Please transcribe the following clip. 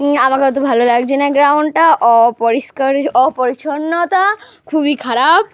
ই আমাকে অত ভালো লাগছে না। গ্রাউন্ড টা অপরিষ্কার অপরিচ্ছন্নতা। খুবই খারাপ।